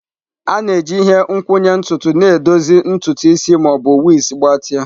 A na-eji ihe nkwụnye ntutu na-edozi ntutu isi ma ọ bụ wigs gbatịa.